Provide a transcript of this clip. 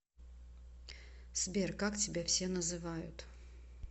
сбер как тебя все называют